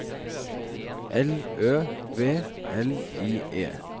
L Ø V L I E